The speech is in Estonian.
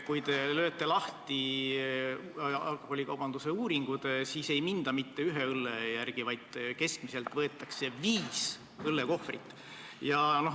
Kui te lööte lahti alkoholikaubanduse uuringud, siis näete, et ei minda mitte ühe õlle järele, vaid keskmiselt võetakse viis õllekohvrit.